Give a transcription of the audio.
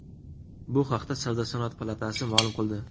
Bu haqda Savdo-sanoat palatasi ma’lum qildi .